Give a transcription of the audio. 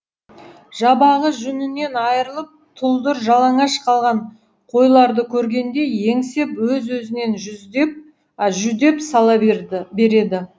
жабағы жүнінен айрылып тұлдыр жалаңаш қалған қойларды көргенде еңсеп өз өзінен жүдеп сала береді